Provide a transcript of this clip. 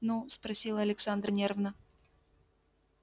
ну спросила александра нервно